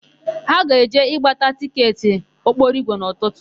Ha ga-eje ịgbata tịketị ụgbọokporoigwe n'ụtụtụ.